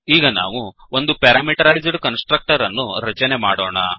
ಈಗ ನಾವು ಒಂದು ಪ್ಯಾರಾಮೀಟರೈಜ್ಡ್ ಕನ್ಸ್ ಟ್ರಕ್ಟರ್ ಅನ್ನು ರಚನೆ ಮಾಡೋಣ